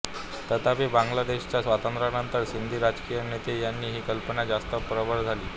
तथापि बांगलादेशच्या स्वातंत्र्यानंतर सिंधी राजकीय नेते यांनी ही कल्पना जास्त प्रबळ झाली